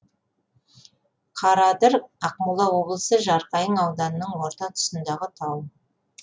қараадыр ақмола облысы жарқайың ауданының орта тұсындағы тау